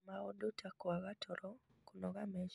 Maũndũ ta kwaga toro, kũnoga meciria,